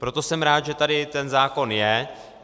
Proto jsem rád, že tady ten zákon je.